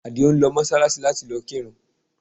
Àdìó ń lọ Mọ́ṣáláṣí láti lọ kírun